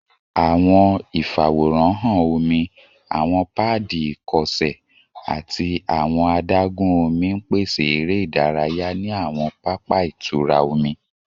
Awọn ifaworanhan omi, awọn paadi ikọsẹ, ati awọn adagun omi n pese ere idaraya ni awọn papa itura omi